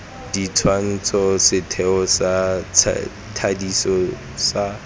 dintšhwa setheo sa thadiso sa